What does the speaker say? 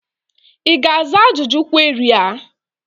Ị ga-aza ajụjụ kweri a?